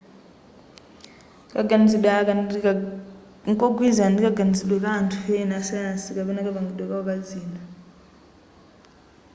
kaganizide aka nkogwilizana ndi kaganizidwe ka anthu ena a sayansi kapena kapangidwe kao ka zinthu